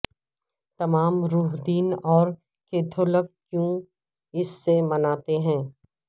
تمام روح دن اور کیتھولک کیوں اس سے مناتے ہیں